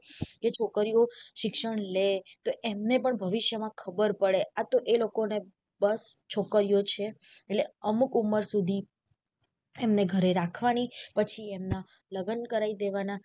કે છોકરીઓ શિક્ષણ લે તો એમને પણ ભવિષ્ય માં ખબર પડે આતો એ લોકો ને બસ છોકરીઓ છે એટલે અમુક ઉમર સુધી એમને ઘરે રહેવાની પછી એમના લગન કરાઈ દેવના.